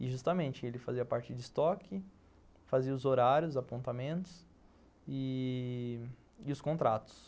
E justamente, ele fazia a parte de estoque, fazia os horários, os apontamentos e os contratos.